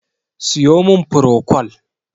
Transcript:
siyo min prokol!